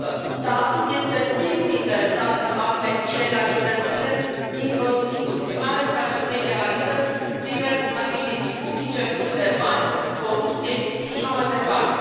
Statul este primul interesat să afle ilegalitățile dintr o instituție, mai ales că aceste ilegalități privesc achiziții publice, furt de bani, corupție și așa mai departe.